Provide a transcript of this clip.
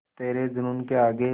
तेरे जूनून के आगे